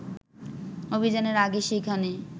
অভিযানের আগে সেখানে